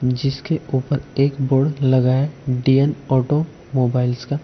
जिसके ऊपर एक बोड लगा है डी_न ऑटोमोबाइल्स का--